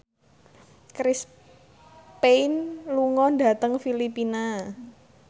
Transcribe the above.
Chris Pane lunga dhateng Filipina